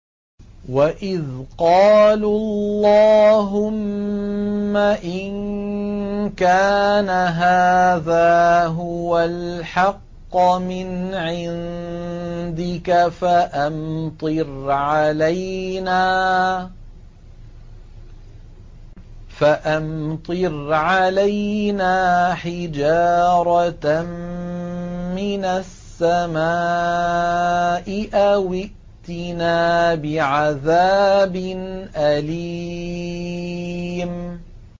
وَإِذْ قَالُوا اللَّهُمَّ إِن كَانَ هَٰذَا هُوَ الْحَقَّ مِنْ عِندِكَ فَأَمْطِرْ عَلَيْنَا حِجَارَةً مِّنَ السَّمَاءِ أَوِ ائْتِنَا بِعَذَابٍ أَلِيمٍ